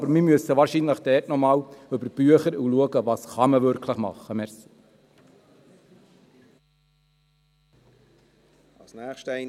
Aber wir müssen wahrscheinlich noch einmal über die Bücher und schauen, was man wirklich machen kann.